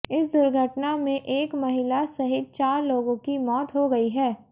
इस दुर्घटना में एक महिला सहित चार लोगों की मौत हो गई है